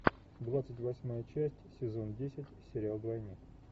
двадцать восьмая часть сезон десять сериал двойник